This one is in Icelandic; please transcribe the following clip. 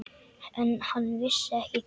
En hann vissi ekki hver.